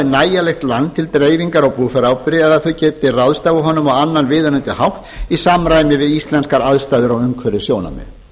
nægilegt land til dreifingar á búfjáráburði eða að þau geti ráðstafað honum á annan viðunandi hátt í samræmi við íslenskar aðstæður og umhverfissjónarmið